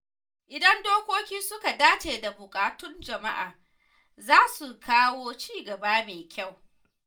Idan dokoki suka dace da buƙatun jama’a, za su kawo ci gaba mai kyau.